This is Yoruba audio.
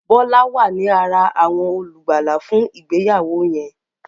Bola wá ní àrà awọn olùgbàlà fún ìgbéyàwó yen.